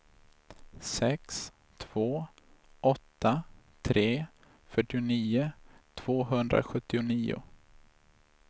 sex två åtta tre fyrtionio tvåhundrasjuttionio